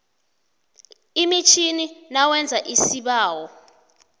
emitjhini nawenza isibawo